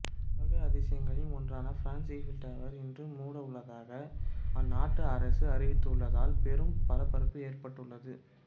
உலக அதிசயங்களில் ஒன்றான பிரான்ஸ் ஈபிள் டவர் இன்று மூடவுள்ளதாக அந்நாட்டு அரசு அறிவித்துள்ளதால் பெரும் பரபரப்பு ஏற்பட்டுள்ளது